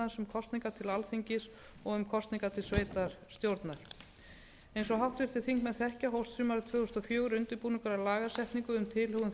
til alþingis og um kosningar til sveitarstjórnar eins og háttvirtir þingmenn þekkja hófst sumarið tvö þúsund og fjögur undirbúningur að lagasetningu um tilhögun